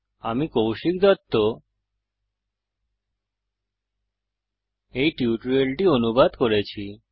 আমি কৌশিক দত্ত এই টিউটোরিয়ালটি অনুবাদ করেছি